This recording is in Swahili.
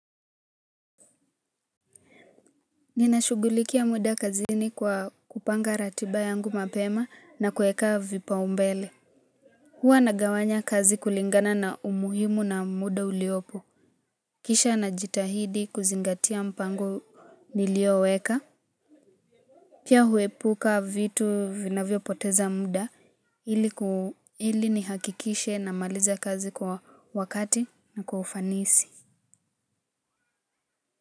Ninashugulikia muda kazini kwa kupanga ratiba yangu mapema na kueka vipa umbele. Hua nagawanya kazi kulingana na umuhimu na muda uliopo. Kisha najitahidi kuzingatia mpango nilioweka. Pia huepuka vitu vinavyo poteza muda. Hili ni hakikishe na maliza kazi kwa wakati na kwa ufanisi.